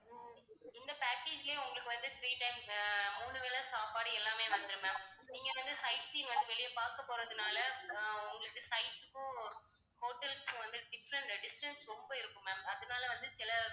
உம் இந்த package லயே உங்களுக்கு வந்து three times மூணு வேளை சாப்பாடு எல்லாமே வந்துரும் ma'am. நீங்க வந்து sightseeing வந்து வெளிய பார்க்கப் போறதுனால அஹ் உங்களுக்கு sight க்கும் hotel க்கும் வந்து distance ரொம்ப இருக்கும் ma'am அதனால வந்து சில